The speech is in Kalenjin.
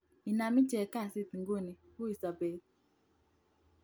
Inam icheg kasit iguni ,ui sobet.